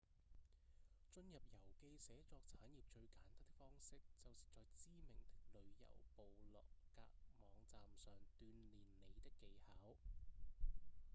進入遊記寫作產業最簡單的方式就是在知名的旅遊部落格網站上鍛鍊你的技巧